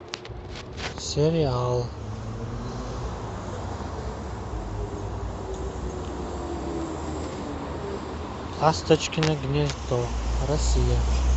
сериал ласточкино гнездо россия